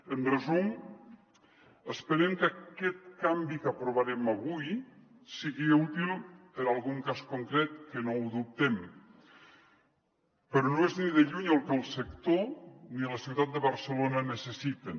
en resum esperem que aquest canvi que aprovarem avui sigui útil per a algun cas concret que no ho dubtem però no és ni de lluny el que el sector ni la ciutat de barcelona necessiten